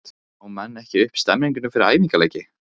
Ná menn ekki upp stemningu fyrir æfingaleiki?